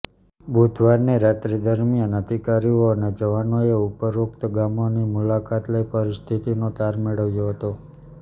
બુધવારની રાત્રિ દરમ્યાન અધિકારીઓ અને જવાનોએ ઉપરોક્ત ગામોની મુલાકાત લઈ પરિસ્થિતિનો તાર મેળવ્યો હતો